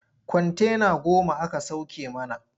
Kwantena goma aka sauke mana.